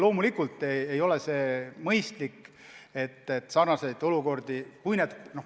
Loomulikult ei ole see mõistlik, et sarnaseid olukordi hinnatakse erinevalt.